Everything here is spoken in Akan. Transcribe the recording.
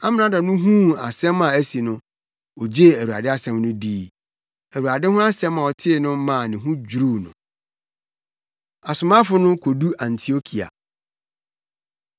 Amrado no huu asɛm a asi no, ogyee Awurade asɛm no dii. Awurade ho asɛm a ɔtee no maa ne ho dwiriw no. Asomafo No Kodu Antiokia